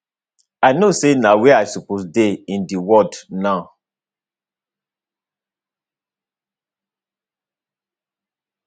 i know say na where i supposed dey in di world now